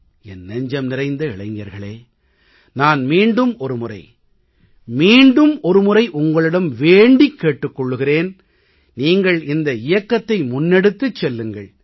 என் நெஞ்சம் நிறைந்த இளைஞர்களே நான் மீண்டும் ஒரு முறை மீண்டும் ஒரு முறை உங்களிடம் வேண்டிக் கேட்டுக் கொள்கிறேன் நீங்கள் இந்த இயக்கத்தை முன்னெடுத்துச் செல்லுங்கள்